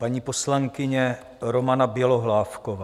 Paní poslankyně Romana Bělohlávková.